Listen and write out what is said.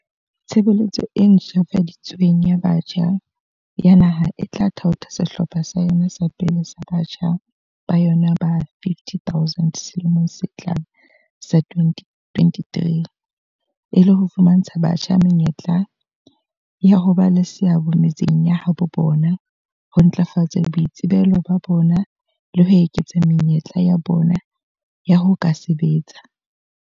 "Tshebeletso e ntjhafadi tsweng ya Batjha ya Naha e tla thaotha sehlopha sa yona sa pele sa batjha ba yona ba 50 000 selemong se tlang sa 2023, e le ho fumantsha batjha menyetla ya ho ba le seabo metseng ya habo bona, ho ntlafatsa boitsebelo ba bona le ho eketsa menyetla ya bona ya ho ka sebetsa."